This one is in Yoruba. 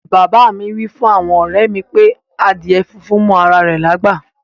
Baba mi wifun awon ore mi pe adíè fúnfún mọ ara rè lágbá.